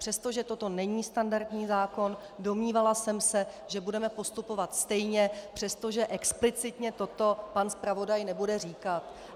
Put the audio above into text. Přestože toto není standardní zákon, domnívala jsem se, že budeme postupovat stejně, přestože explicitně toto pan zpravodaj nebude říkat.